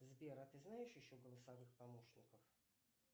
сбер а ты знаешь еще голосовых помощников